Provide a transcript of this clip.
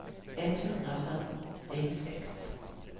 etthundrafyrtiosex